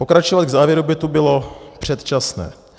Pokračovat k závěru by tu bylo předčasné.